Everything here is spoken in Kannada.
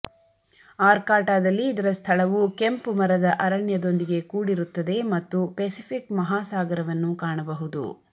ಆರ್ಕಾಟಾದಲ್ಲಿ ಇದರ ಸ್ಥಳವು ಕೆಂಪು ಮರದ ಅರಣ್ಯದೊಂದಿಗೆ ಕೂಡಿರುತ್ತದೆ ಮತ್ತು ಪೆಸಿಫಿಕ್ ಮಹಾಸಾಗರವನ್ನು ಕಾಣಬಹುದು